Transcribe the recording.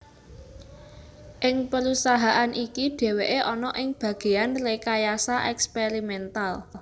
Ing perusahaan iki dheweke ana ing bageyan Rekayasa Eksperimental